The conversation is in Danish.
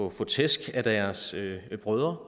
at få tæsk af deres brødre